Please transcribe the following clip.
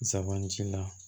Zanbanti la